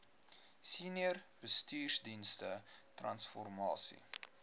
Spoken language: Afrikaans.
senior bestuursdienste transformasie